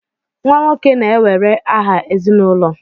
Nwa nwoke na-ewere aha ezinụlọ